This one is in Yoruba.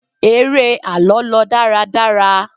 eré àlọ lọ dáradára